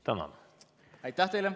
Tänan!